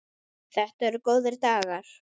Þetta eru góðir dagar.